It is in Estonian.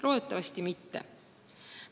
Loodetavasti seda ei juhtu.